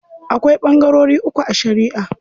Akwai ɓangarori uku a shariʼa.